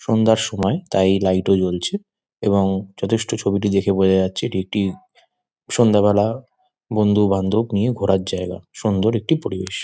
সন্ধ্যার সময় তাই লাইট ও জ্বলছে এবং যথেষ্ট ছবিটি দেখে বোঝা যাচ্ছে এটি একটি সন্ধ্যা বেলা বন্ধু-বান্ধব নিয়ে ঘোরার জায়গা সুন্দর একটি পরিবেশ।